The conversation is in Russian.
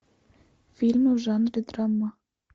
фильмы в жанре драма